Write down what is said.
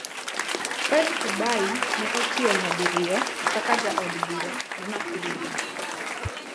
Fred Kubai ne otiyo nyadiriyo kaka Jaod Bura ma Nakuru East.